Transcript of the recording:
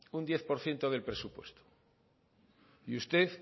un diez por ciento del presupuesto y usted